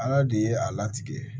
Ala de ye a latigɛ